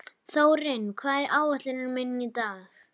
Þórinn, hvað er á áætluninni minni í dag?